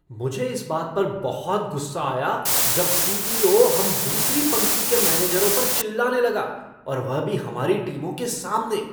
मुझे इस बात पर बहुत गुस्सा आया जब सी.ई.ओ. हम दूसरी पंक्ति के मैनेजरों पर चिल्लाने लगा और वह भी हमारी टीमों के सामने।